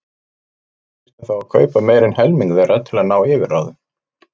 Við þyrftum þá að kaupa meira en helming þeirra til að ná yfirráðum.